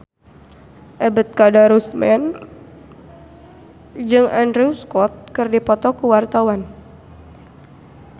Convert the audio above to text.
Ebet Kadarusman jeung Andrew Scott keur dipoto ku wartawan